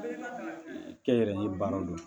Kɛnyɛrɛye baaraw don